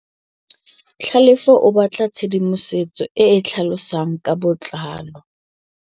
Tlhalefô o batla tshedimosetsô e e tlhalosang ka botlalô.